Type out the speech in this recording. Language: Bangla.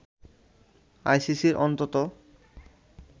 আইসিসির অন্তত